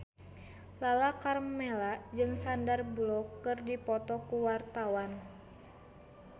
Lala Karmela jeung Sandar Bullock keur dipoto ku wartawan